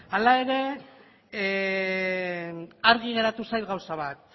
hala ere argi geratu zait gauza bat